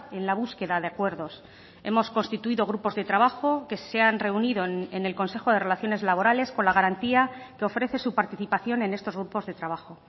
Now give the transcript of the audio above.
en la búsqueda de acuerdos hemos constituido grupos de trabajo que se han reunido en el consejo de relaciones laborales con la garantía que ofrece su participación en estos grupos de trabajo